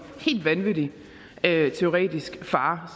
helt vanvittig teoretisk fare